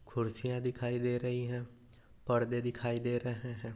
कुर्सिया दिखाई दे रही है पर्दे दिखाई दे रहे है।